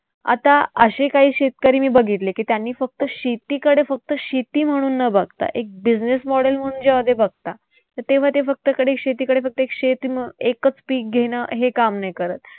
आता असे काही शेतकरी मी बघितले की त्यांनी फक्त शेतीकडे फक्त शेती म्हणून न बघता एक business model म्हणून जेंव्हा ते बघता तर तेव्हा ते फक्त एकच पीक घेणं हे काम नाही करत.